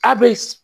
A bɛ